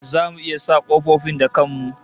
Zamu iya sa kofofin da kan mu?